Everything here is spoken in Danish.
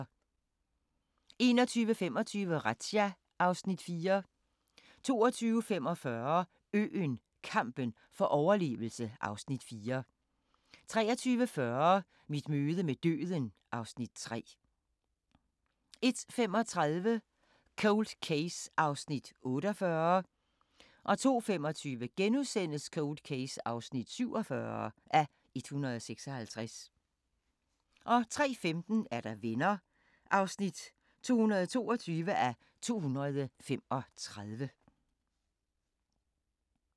21:25: Razzia (Afs. 4) 22:45: Øen – kampen for overlevelse (Afs. 4) 23:40: Mit møde med døden (Afs. 3) 01:35: Cold Case (48:156) 02:25: Cold Case (47:156)* 03:15: Venner (222:235)